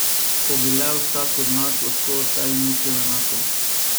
Ko bi le vsak od nas lahko o sebi mislil enako!